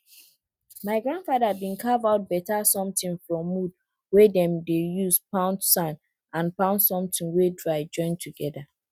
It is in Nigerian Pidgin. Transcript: my grandfather bin carve out better somtin from wood wey dem dey use pound sand and pound somtin wey dry join together